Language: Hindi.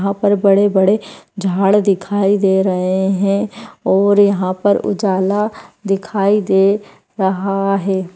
यहाँ पर बड़े-बड़े झाड़ दिखाई दे रहे हैं और यहाँ पर उजाला दिखाई दे रहा है।